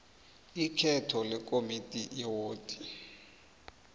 ikhetho lekomidi yewodi